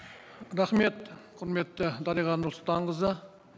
рахмет құрметті дариға нұрсұлтанқызы